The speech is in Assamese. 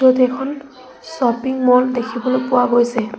ইয়াত এখন শ্বপিং মল দেখিবলৈ পোৱা গৈছে।